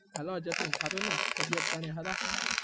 hello Jatin હારુ ને તબીયત પાણી હારા ને